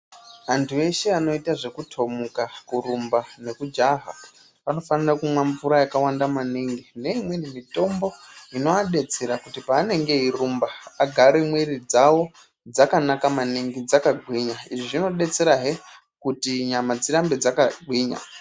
Antu eshe anoita zvekutomuka kurumba nekujaha anofanira kumwa mvura yakawanda maningi nemitombo inovadetsera pavanenge veirumba agare mwiri dzawo dzakanaka maningi dzakagwinya izvi zvinodetserahe kuti nyama dzigare dzakagwinya.